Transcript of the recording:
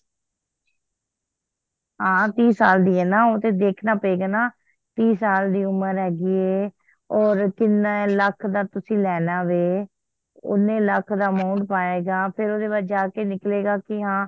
ਹਾਂ ਤੀਹ ਸਾਲ ਦੀ ਆ ਨਾ ਉਹ ਤੇ ਦੇਖਣਾ ਪਏਗਾ ਤੀਹ ਸਾਲ ਦੀ ਉਮਰ ਹੈਗੀ ਆ ਹੋਰ ਕੀਹਨੇ ਲੱਖ ਦਾ ਤੁਸੀ ਲੈਣਾ ਵੇ ਓਹਨੇ ਲੱਖ ਦਾ amount ਪਾਏ ਗਾ ਫੇਰ ਓਹਦੇ ਬਾਅਦ ਜਾ ਕੇ ਨਿਕਲੇਗਾ ਕੀ ਹਾਂ